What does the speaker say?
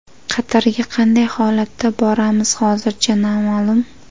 Qatarga qanday holatda boramiz, hozircha noma’lum.